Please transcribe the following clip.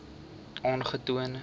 aangetoon